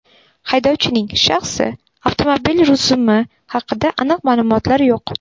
Haydovchining shaxsi, avtomobil rusumi haqida aniq ma’lumotlar yo‘q.